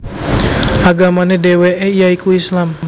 Agamane dheweke ya iku Islam